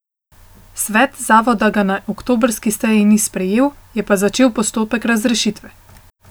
Svet zavoda ga na oktobrski seji ni sprejel, je pa začel postopek razrešitve.